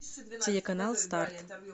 телеканал старт